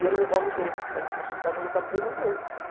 E ele me convidou para ir na festa de casamento da prima dele.